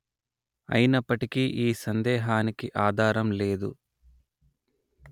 అయినప్పటికీ ఈ సందేహానికి ఆధారం లేదు